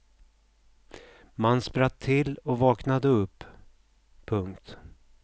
Man spratt till och vaknade upp. punkt